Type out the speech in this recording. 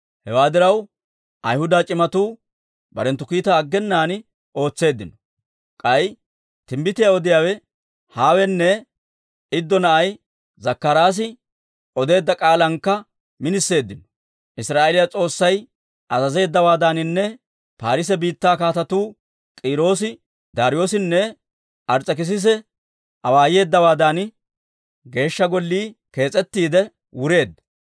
Hewaa diraw, Ayhuda c'imatuu barenttu kiitaa aggenaan ootseeddino; k'ay timbbitiyaa odiyaawe Hawenne Iddo na'ay Zakkaraasi odeedda k'aalankka miniseeddino. Israa'eeliyaa S'oossay azazeeddawaadaaninne Paarise biittaa kaatetuu K'iiroosi, Daariyoosinne Ars's'ekisise awaayeeddawaadan Geeshsha Gollii kees's'ettiide wureedda.